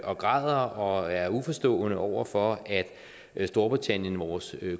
og græder og er uforstående over for at storbritannien vores